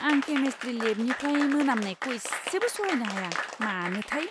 आं केमिस्ट्रि लेबनिफ्राय मोनामनायखौ इसेबो सहायनो हाया! मानोथाय!